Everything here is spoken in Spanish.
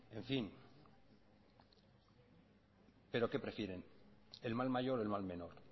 pero qué prefieren el mal mayor o el mal menor